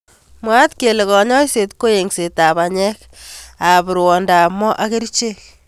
mwaat kele kanyoiset ko engset ab banyek ab rwondo ab moo ak kerichek.